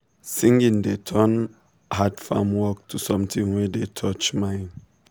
singing dey turn hard farm work to something wey dey touch mind